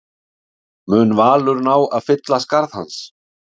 Mun Valur ná að fylla skarð hans?